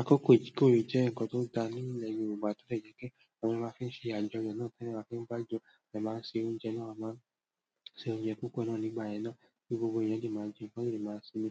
Àkókò ìkórè jẹ́ nǹkan tó dáa nínú ilẹ̀ Yorùbá, tó dẹ̀ jẹ́ pé àwọn èèyàn máa fí ń ṣe àjọyọ̀ náà, kí ẹ máa fín bá jọ, a dẹ̀ máa ń se oúnjẹ náà, a máa ń se oúnjẹ púpọ̀ náà nígbà yẹn náà, kí gbogbo èèyàn lè máa jẹ, kí wọ́n lè máa sinmi.